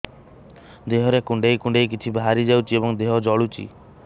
ଦେହରେ କୁଣ୍ଡେଇ କୁଣ୍ଡେଇ କିଛି ବାହାରି ଯାଉଛି ଏବଂ ଦେହ ଜଳୁଛି